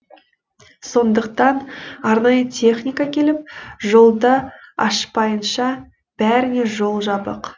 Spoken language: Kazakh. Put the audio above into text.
сондықтан арнайы техника келіп жолды ашпайынша бәріне жол жабық